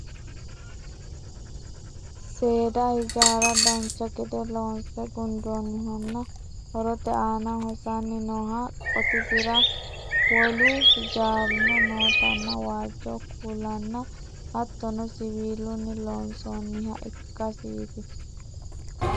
seeda hijaara dancha gede loonse gundoonnihanna horote aana hosanni nooha qotisira wolu hijaarino nootanna waajjo kuulanna hattono siwiilunni loonsoonniha ikkasiiti